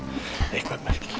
eitthvað merkilegt